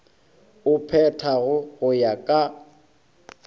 o phethago go ya ka